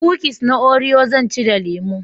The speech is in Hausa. Kukis na orio zan ci da lemo